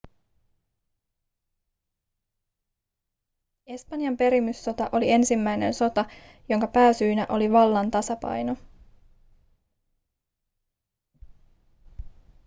espanjan perimyssota oli ensimmäinen sota jonka pääsyynä oli vallan tasapaino